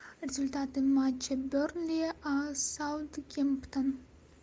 результаты матча бернли саутгемптон